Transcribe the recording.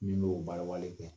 Min y'o baara wale kɛ